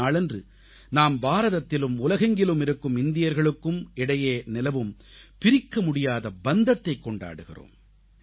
இந்த நாளன்று நாம் பாரதத்திலும் உலகெங்கிலும் இருக்கும் இந்தியர்களுக்கும் இடையே நிலவும் பிரிக்க முடியாத பந்தத்தை கொண்டாடுகிறோம்